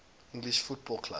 english football clubs